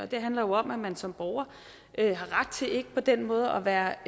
det handler jo om at man som borger har ret til ikke på den måde at være